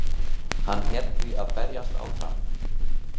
Hann hét því að berjast áfram